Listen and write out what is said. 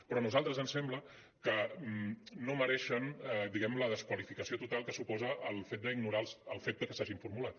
però a nosaltres ens sembla que no mereixen diguem·ne la desqualificació total que suposa el fet d’ignorar el fet de que s’hagin formulat